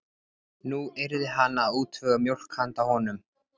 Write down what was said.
Nú yrði hann að útvega mjólk handa honum.